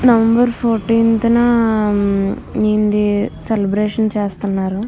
November fourteenth న ఈయనది celebration చేస్తున్నారు.